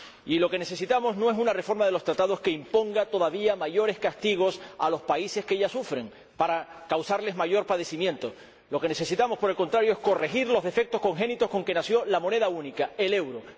Y lo que necesitamos no es una reforma de los Tratados que imponga todavía mayores castigos a los países que ya sufren, para causarles mayor padecimiento lo que necesitamos, por el contrario, es corregir los defectos congénitos con que nació la moneda única, el euro.